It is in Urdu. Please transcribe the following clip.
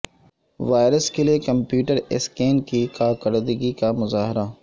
وائرس کے لئے کمپیوٹر اسکین کی کارکردگی کا مظاہرہ